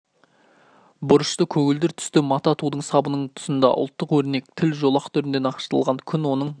бұрышты көгілдір түсті мата тудың сабының тұсында ұлттық өрнек тік жолақ түрінде нақышталған күн оның